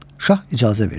Şah icazə verdi.